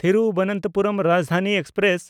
Thiruvananthapuram Rajdhani express